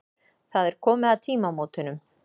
Það er komið að tímamótunum.